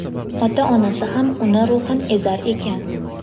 ota-onasi ham uni ruhan ezar ekan.